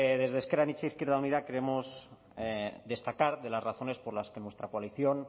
desde ezker anitza izquierda unida creemos destacar de las razones por las que nuestra coalición